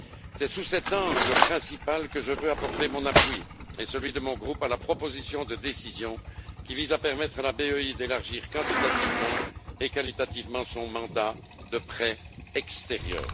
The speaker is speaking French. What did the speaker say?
C'est sous cet angle principal que je veux apporter mon appui et celui de mon groupe à la proposition de décision qui vise à permettre à la BEI d'élargir quantitativement et qualitativement son mandat de prêt extérieur.